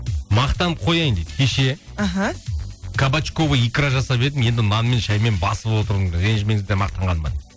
мақтанып қояйын дейді кеше аха кабачковый икра жасап едім енді нан мен шәймен басып отырмын ренжімеңіздер мақтанғаныма